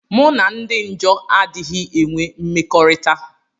Mụ na ndi njọ adighi enwe mmekọrita.